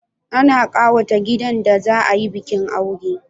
Ana kawata gidan da za a yi bikin aure